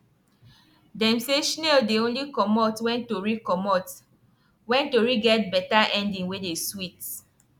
dem say shnail dey only comot wen tori comot wen tori get beta ending wey dey swit